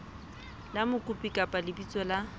la mokopi kapa lebitso la